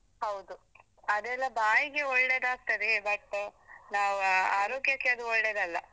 ಹೌದು ಅದೆಲ್ಲಾ ಬಾಯಿಗೆ ಒಳ್ಳೆದಾಗ್ತಾದೆ but ನಾವ್ ಆರೋಗ್ಯಕ್ಕೆ ಅದು ಒಳ್ಳೇದಲ್ಲ.